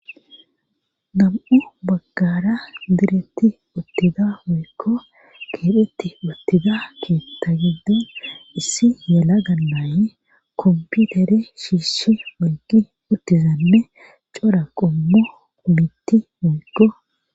dam7u baggara diretti ottida moykko keedhetti ottida keetta gidden issi yala gallaayi komputere shiishshi moyqi uttizanne cora qommu mitti moykko